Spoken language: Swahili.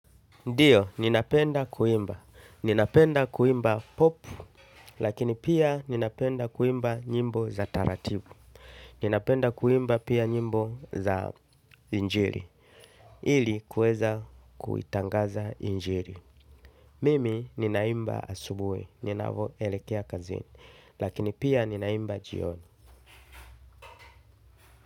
Ndiyo, ninapenda kuimba. Ninapenda kuimba Pop, lakini pia ninapenda kuimba nyimbo za taratibu. Ninapenda kuimba pia nyimbo za injiri, ili kuweza kuitangaza injiri. Mimi ninaimba asubuhi ninavo elekea kazini lakini pia ninaimba jioni.